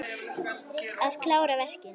Að klára verkin.